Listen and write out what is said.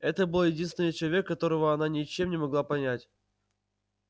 это был единственный человек которого она ничем не могла понять